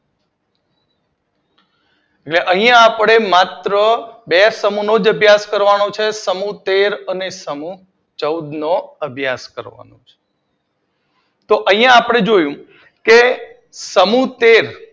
હવે અહિયાં આપડે માત્ર બે જ સમૂહનો અભ્યાસ કરવાનો છે સમૂહ તેર અને સમૂહ ચૌદ નો અભ્યાસ કરવાનો છે અહી આપડે જોયું સમૂહ તેર